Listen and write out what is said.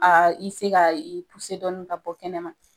A ka i dɔɔni ka bɔ kɛnɛma.